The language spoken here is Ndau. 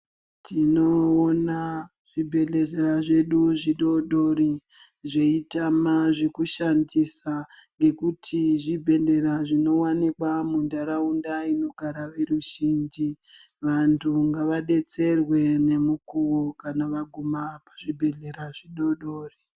Tinoona zvibhedhlezera zvedu zvidodori zveitama zvekushandisa ngekuti zvibhedera zvinowanikwa mundaraunda inogara ruzhinji ,vantu ngavadetserwe nemukuwo kana vaguma pazvibhedhlera zvidodori.